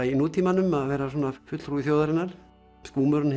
í nútímanum að vera svona fulltrúi þjóðarinnar skúmurinn